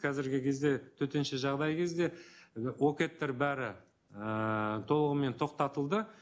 қазіргі кезде төтенше жағдай кезде і окед тер бәрі ыыы толығымен тоқтатылды